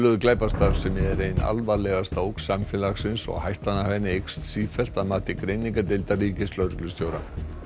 glæpastarfsemi er ein alvarlegasta ógn samfélagsins og hættan af henni eykst sífellt að mati greiningardeildar ríkislögreglustjóra